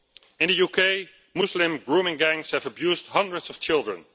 EU. In the UK, Muslim grooming gangs have abused hundreds of children.